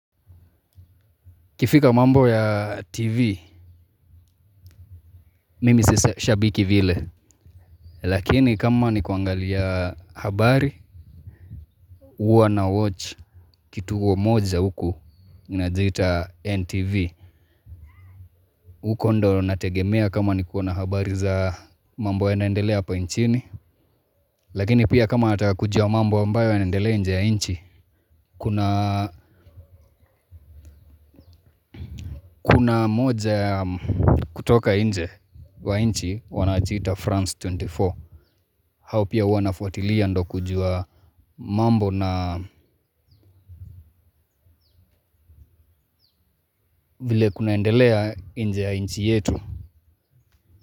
Ikifika mambo ya TV. Mimi si shabiki vile. Lakini kama ni kuangalia habari huwa nawatch kituo moja huku. Inajiita NTV huko ndo nategemea kama ni kuona habari za mambo yanaendelea hapa nchini. Lakini pia kama nataka kujua mambo ambayo yanaendelea nje ya nchi. Kuna moja ya kutoka nje wa nchi. Wanajiita France ishirini na nne. Hao pia huwa nafuatilia ndo kujua mambo na vile kunaendelea nje ya inchi yetu.